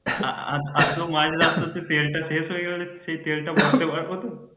আহ আর আদ্ধ্যেক রাস্তায় তেল টা শেষ হয়ে গেলে সেই তেল টা ভরতে পারবো তো?